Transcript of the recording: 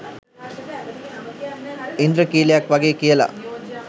ඉන්ද්‍රඛීලයක් වගේ කියලා.